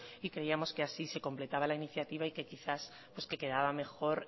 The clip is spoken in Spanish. y creíamos que así se completaba la iniciativa y quizás pues que quedaba mejor